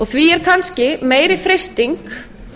því er kannski meiri freisting